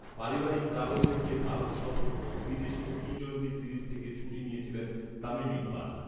পারিবারিক কারণ দেখিয়ে ভারত সফর ও ত্রিদেশীয় টি টোয়েন্টি সিরিজ থেকে ছুটি নিয়েছিলেন তামিম ইকবাল